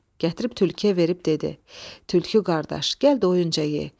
Gətirib tülküyə verib dedi: Tülkü qardaş, gəl doyunca ye.